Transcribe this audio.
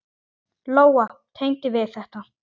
Lóa: Tengdi við þetta?